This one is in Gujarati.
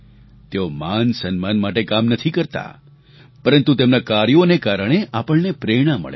તેઓ માનસન્માન માટે કામ નથી કરતા પરંતુ તેમના કાર્યોને કારણે આપણને પ્રેરણા મળે છે